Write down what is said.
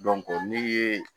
min ye